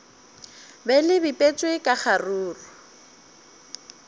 be le bipetšwe ka kgaruru